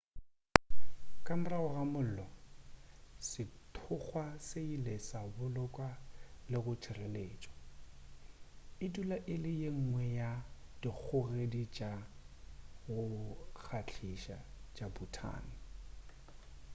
ka morago ga mollo sethokgwa se ile sa bolokwa le go tšhireletšwa e dula e le yengwe ya dikgogedi tša go kgahliša tša bhutan